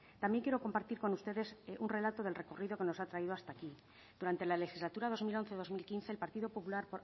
también quiero compartir con ustedes un relato del recorrido que nos ha traído hasta aquí durante la legislatura dos mil once dos mil quince el partido popular